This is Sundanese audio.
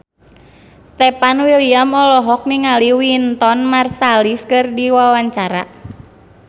Stefan William olohok ningali Wynton Marsalis keur diwawancara